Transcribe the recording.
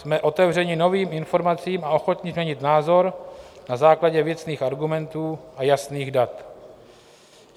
Jsme otevřeni novým informacím a ochotni změnit názor na základě věcných argumentů a jasných dat.